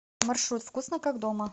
маршрут вкусно как дома